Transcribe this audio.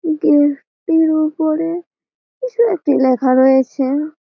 গের টির উপরে কিছু একটি লেখা রয়েছে--